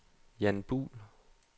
Jan Buhl